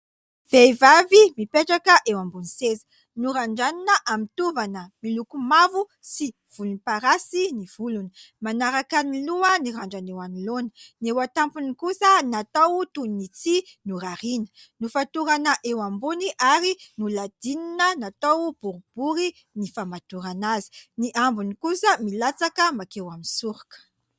Vehivavy mipetraka eo ambony seza. Norandranina amin'ny tovana miloko mavo sy volomparasy ny volony. Manaraka ny loha ny randrana eo anoloana. Ny eo an-tampony kosa natao toy ny tsihy norariana. Nofatorana eo ambony ary noladinina natao boribory ny famatorana azy. Ny ambiny kosa milatsaka mankeo amin'ny soroka.